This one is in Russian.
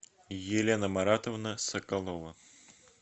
елена маратовна соколова